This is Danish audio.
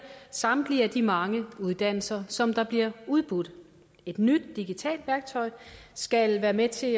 samtlige de mange uddannelser som der bliver udbudt et nyt digitalt værktøj skal være med til